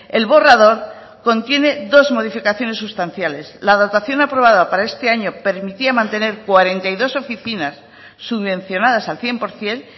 el borrador contiene dos modificaciones sustanciales la dotación aprobada para este año permitía mantener cuarenta y dos oficinas subvencionadas al cien por ciento